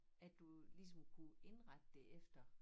At du ligesom kunne indrette det efter